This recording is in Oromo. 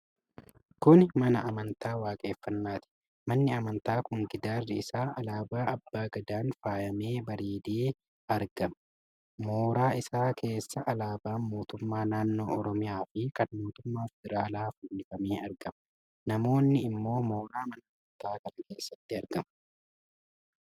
Kuni mana amantaa Waaqeeffannaati. Manni amantaa kun gidaarri isaa alaabaa Abbaa Gadaan faayamee bareedee argama. Mooraa isaa keessa alaabaan mootummaa naannooo Oromiyaa fi kan mootummaa federaalaa fannifamee argama. Namoonni immoo mooraa mana amantaa kana keessatti argamu.